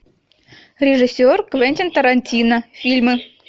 режиссер квентин тарантино фильмы